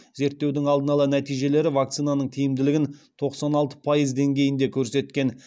зерттеудің алдын ала нәтижелері вакцинаның тиімділігін тоқсан алты пайыз деңгейінде көрсеткен